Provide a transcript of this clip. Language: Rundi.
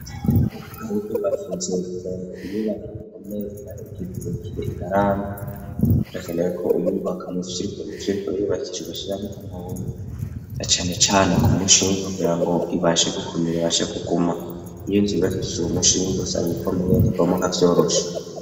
Wukubakinziwe kugira ngo iyubaka igikomere inare ikikerekire inarambi rakenewe ko uyubaka mu vyirikomivyurikubirubakije ugashiramwo amawunu acanecane ku mushinge kugira ngo ibashe gukomera ibashe guguma iyinzu ibibakikije uwu mushiininge usanga ikomeyeyo ntibomuakavyorosha.